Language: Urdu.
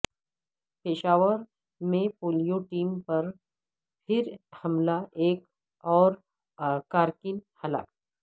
پشاور میں پولیو ٹیم پر پھر حملہ ایک اور کارکن ہلاک